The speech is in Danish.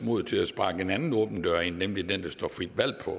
mod til at sparke en anden åben dør ind nemlig den der står frit valg på